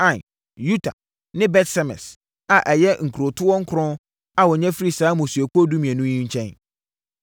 Ain, Yuta ne Bet-Semes a ɛyɛ nkurotoɔ nkron a wɔnya firii saa mmusuakuo mmienu yi nkyɛn.